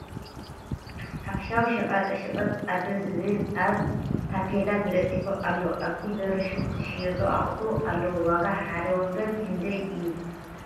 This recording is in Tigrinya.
ሓፈሻዊ ሸቀጣ ሸቀጥ ኣዶ ዝብል ኣብ ታፔላ ተለጢፉ ኣሎ ። ኣብቲ በሪ ሹቅ ዝሽየጡ ኣቁሑ ኣለዉ ። ዋጋ ሓደ ወንበር ክንደይ እዩ ?